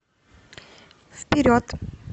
вперед